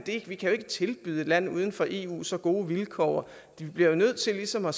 ikke kan tilbyde et land uden for eu så gode vilkår at vi bliver nødt til ligesom at